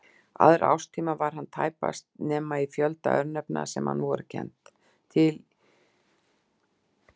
Aðra árstíma var hann tæpast til nema í fjölda örnefna sem við hann voru kennd.